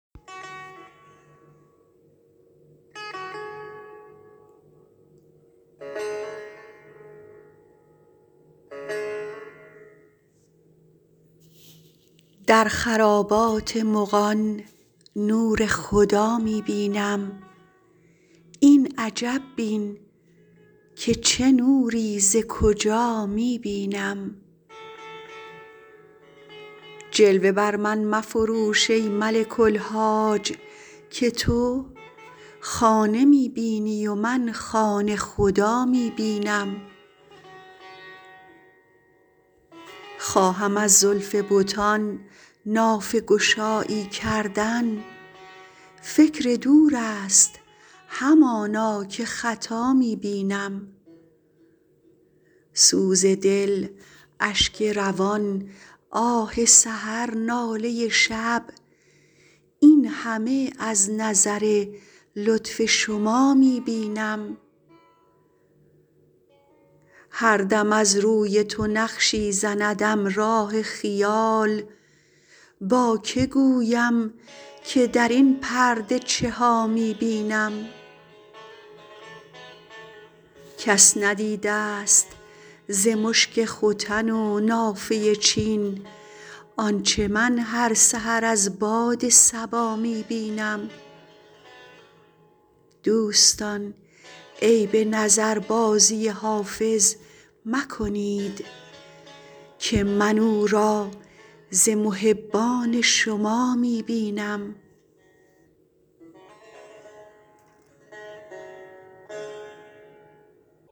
در خرابات مغان نور خدا می بینم این عجب بین که چه نوری ز کجا می بینم جلوه بر من مفروش ای ملک الحاج که تو خانه می بینی و من خانه خدا می بینم خواهم از زلف بتان نافه گشایی کردن فکر دور است همانا که خطا می بینم سوز دل اشک روان آه سحر ناله شب این همه از نظر لطف شما می بینم هر دم از روی تو نقشی زندم راه خیال با که گویم که در این پرده چه ها می بینم کس ندیده ست ز مشک ختن و نافه چین آنچه من هر سحر از باد صبا می بینم دوستان عیب نظربازی حافظ مکنید که من او را ز محبان شما می بینم